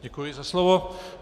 Děkuji za slovo.